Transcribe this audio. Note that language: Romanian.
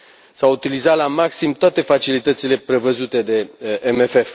S au utilizat la maxim toate facilitățile prevăzute de MFF.